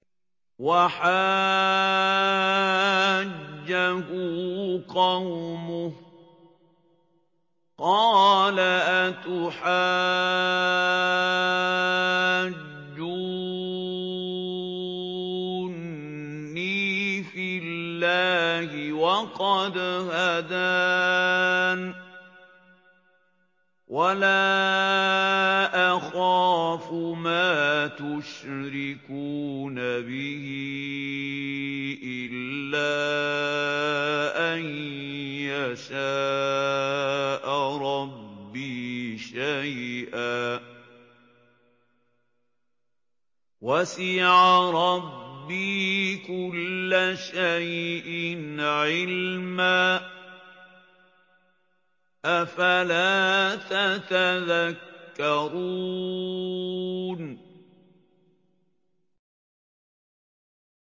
وَحَاجَّهُ قَوْمُهُ ۚ قَالَ أَتُحَاجُّونِّي فِي اللَّهِ وَقَدْ هَدَانِ ۚ وَلَا أَخَافُ مَا تُشْرِكُونَ بِهِ إِلَّا أَن يَشَاءَ رَبِّي شَيْئًا ۗ وَسِعَ رَبِّي كُلَّ شَيْءٍ عِلْمًا ۗ أَفَلَا تَتَذَكَّرُونَ